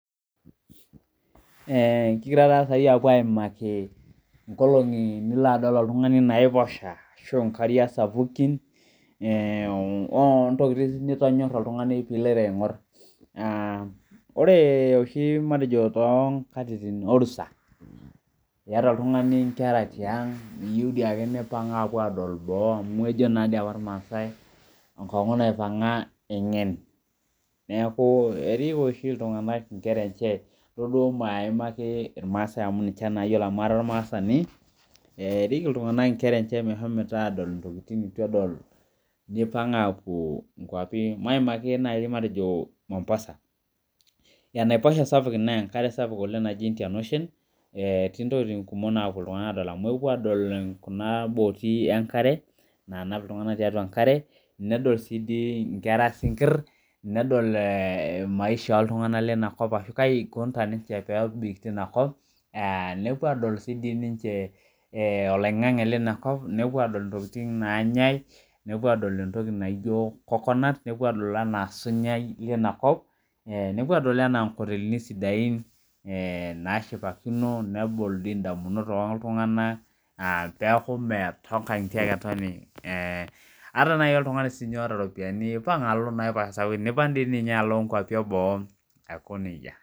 Ee kigira sai apuo aimaki nkolongi Nilo oltungani adol naiposha ashu nkariak sapukin ee ontokitin nitonyora oltungani piloito aingor ore oshi tonkatitin orusa iyata oltungani nkera tiang keya oshiake nepuo adol boo amu ejo irmaasai enkongu naipanga engen neaku erik osho ltunganak innkera enye nto duo maimaki irmaasai amu ninche ayiolo amu kara ormaasani erik ltunganak nkera enye pepuo adol ntokitin nituedol nipanga puo nkwapi matejo mombasa enaiposha inasapuk naji Indian ocean etii ntokitin kumok napuo ltunganak adol amu epuo adol kunaboti nanap ltunganak tiatua enkare nedol si nkwra si kir nedol maisha oltunganak linakop nepuo adol oloingangu linakop nepuo adol ntokitin nanyae nepuo adol osunyae linakop nepuo adol nkotelini sidain nashipakino nebol ndamunot oltunganak aa peaku metonganitie ake etoni ataa oltungani oota ropiyani impang alo nkwapi eboo aiko nejia